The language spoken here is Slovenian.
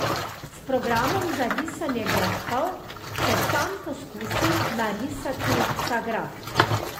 S programom za risanje grafov še sam poskusi narisati ta graf.